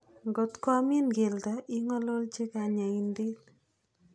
Ngotko amin keldo, ing'ololchi kanyaindet.